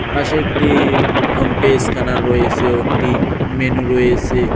পাশে একটি PhonePe scanner রয়েসে ও একটি মেনু রয়েসে ।